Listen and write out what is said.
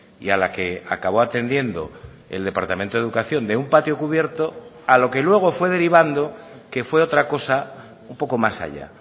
y a la que acabo atendiendo el departamento de educación de un patio cubierto a lo que luego fue derivando que fue otra cosa un poco más allá